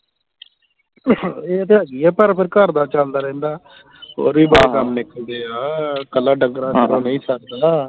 ਇਹ ਤਾਂ ਹੈਗਾ ਹੀ ਹੈ ਪਰ ਫੇਰ ਘਰ ਦਾ ਚਲਦਾ ਰਹਿੰਦਾ ਹੋਰ ਵੀ ਕੰਮ ਨਿਕਲਦੇ ਆ ਕੱਲਾ ਢੰਗਰਾਂ ਨਾਲ ਤਾਂ ਨਹੀਂ ਸਰਦਾ